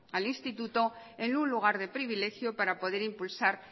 al instituto en un lugar de privilegio para poder impulsar